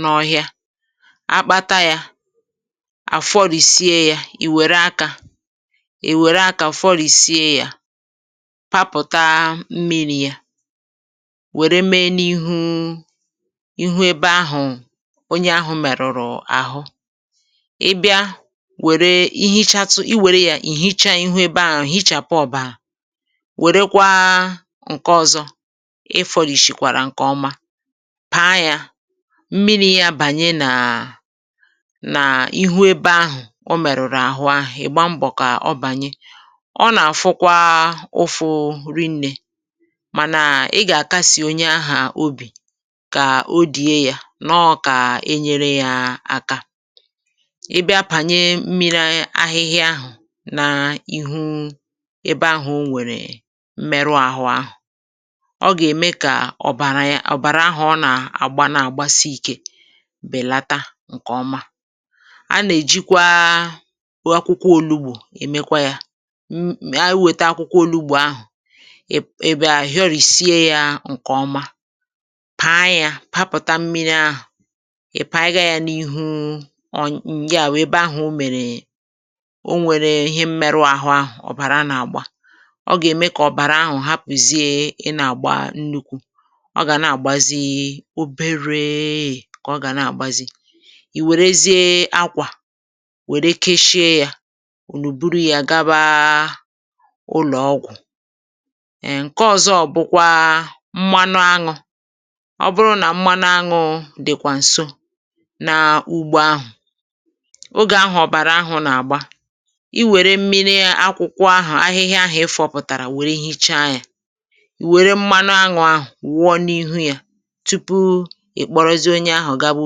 n’ọhịa. A kpata ya, a fọrịsie ya, e were aka fọrịsie ya, papụta mmiri ya, were mee n’ihu ebe ahụ onye ahụ merụrụ ahụ. Ị bịa were ya ihichàtụ ihu ebe ahụ, ihichapụ ọbara; werekwa nke ọzọ ifọrịsiekwara nke ọma, paa ya, mee ka mmiri ya abanye n’ihu ebe ahụ o merụrụ ahụ, ị gbaa mbọ ka ọ banye, ọ na-afukwa ụfụ rinne. Ma ị ga-akasi onye ahụ obi ka o die ya, nọ ka enyere ya aka. Ị bịa apanye mmiri ahịhịa ahụ n’ihu ebe ahụ o nwere mmerụ ahụ, ọ ga-eme ka ọbara ahụ ọ na-agba, na-agbasi ike belata nke ọma. A na-ejikwa akwụkwọ olugbò emekwa ya: e wete akwụkwọ olugbò ahụ, ị fọrịsie ya nke ọma, paa ya, pụpụta mmiri ahụ, i panye ya n’ihu ọnya. Ya bụ, ebe ahụ o mere o nwere mmerụ ahụ, ọbara na-agba, ọ ga-eme ka ọbara ahụ hapụzie ị na-agba nnukwu; ọ ga na-agbazi obere. Ị werezie akwa, were kechie ya, unu buru ya, gaba ụlọ ọgwụ. Nke ọzọ bụkwa mmanụ aṅụ. Ọ bụrụ na mmanụ aṅụ dịkwa nso n’ ugbo ahu, oge ahụ ọbara ahụ na-agba, i were mmiri akwụkwọ ahịhịa ahụ i fọpụtara, were hichaa ya, i were mmanụ aṅụ ahụ wuo n’ihu ya tupu ị kporozie onye ahụ gaba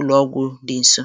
ụlọ ọgwụ dị nso.